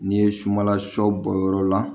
N'i ye sunbala shɔ bɔ yɔrɔ la